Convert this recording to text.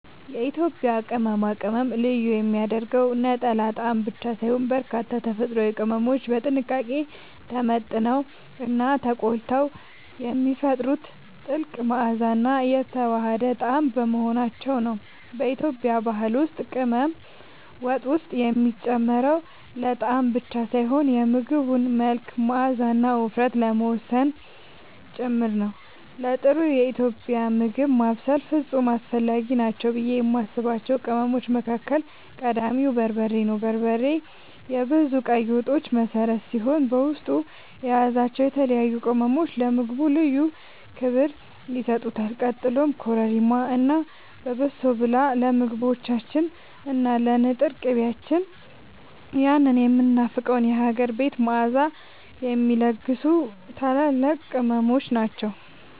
የኢትዮጵያን ቅመማ ቅመም ልዩ የሚያደርገው ነጠላ ጣዕም ብቻ ሳይሆን፣ በርካታ ተፈጥሯዊ ቅመሞች በጥንቃቄ ተመጥነውና ተቆልተው የሚፈጥሩት ጥልቅ መዓዛና የተዋሃደ ጣዕም በመሆናቸው ነው። በኢትዮጵያ ባህል ውስጥ ቅመም ወጥ ውስጥ የሚጨመረው ለጣዕም ብቻ ሳይሆን የምግቡን መልክ፣ መዓዛና ውፍረት ለመወሰን ጭምር ነው። ለጥሩ ኢትዮጵያዊ ምግብ ማብሰል ፍጹም አስፈላጊ ናቸው ብዬ የማስባቸው ቅመሞች መካከል ቀዳሚው በርበሬ ነው። በርበሬ የብዙ ቀይ ወጦች መሠረት ሲሆን፣ በውስጡ የያዛቸው የተለያዩ ቅመሞች ለምግቡ ልዩ ክብር ይሰጡታል። ቀጥሎም ኮረሪማ እና በሶብላ ለምግቦቻችን እና ለንጥር ቅቤያችን ያንን የሚናፈቀውን የሀገር ቤት መዓዛ የሚለግሱ ታላላቅ ቅመሞች ናቸው።